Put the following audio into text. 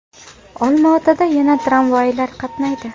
Olmaotada yana tramvaylar qatnaydi.